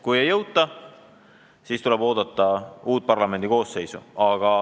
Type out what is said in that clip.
Kui ei jõuta, siis tuleb oodata uut parlamendi koosseisu.